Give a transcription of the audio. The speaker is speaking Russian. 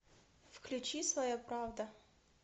включи своя правда